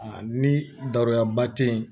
A ni daronyaba te yen